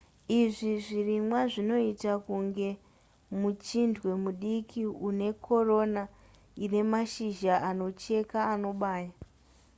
izvi zvirimwa zvinoita kunge muchindwe mudiki unekorona inemashizha anocheka anobaya